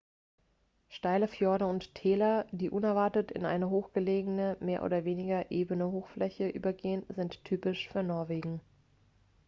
steile fjorde und täler die unerwartet in eine hochgelegene mehr oder weniger ebene hochfläche übergehen sind typisch für norwegen